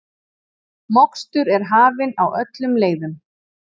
Mokstur er hafin á öllum leiðum